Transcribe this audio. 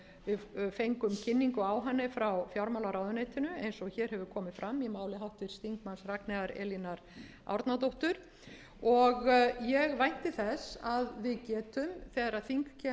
við fengum kynningu á henni frá fjármálaráðuneytinu eins og hér hefur komið fram í máli háttvirts þingmanns ragnheiðar elínar árnadóttur og ég vænti þess að við getum þegar þing kemur saman strax eftir